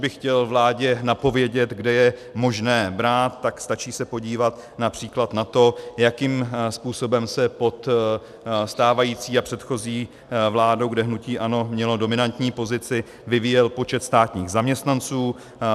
Kdybych chtěl vládě napovědět, kde je možné brát, tak stačí se podívat například na to, jakým způsobem se pod stávající a předchozí vládou, kde hnutí ANO mělo dominantní pozici, vyvíjel počet státních zaměstnanců.